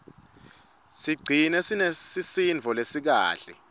sicigcine sinesisindvo lesikahle